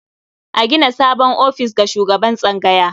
A gina sabon ofis ga shugaban tsangaya.